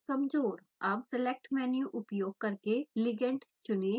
अब select menu उपयोग करके ligand चुनें